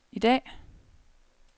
i dag